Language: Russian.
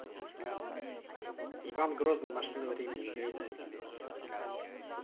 иван грозный машина времени гайдай